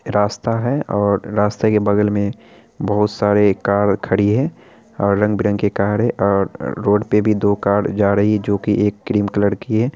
रास्ता है और रास्ते के बगल में बोहोत सारी कार खड़ी है और रंग-बिरंगी कार है और रोड पे भी दो कार जा रही है जो की एक क्रीम कलर की है।